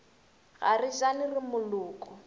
ga re jane re moloko